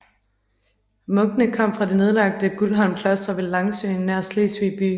Munkene kom fra det nedlagte Guldholm Kloster ved Langsøen nær Slesvig by